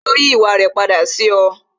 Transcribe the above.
Ṣé ó yí ìwà rẹ padà sí ọ?